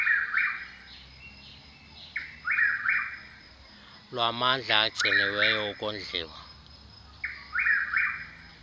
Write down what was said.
lwamandla agciniweyo ukondliwa